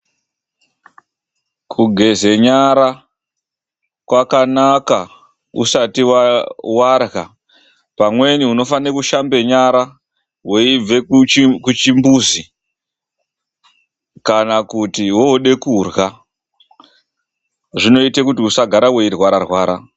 Kugeza nyara kwakanaka usati warya, pamweni unofana kushambe nyara weibva kuchimbuzi kana kuti woda kurya. Zvinoita kuti usagara weirwara rwara .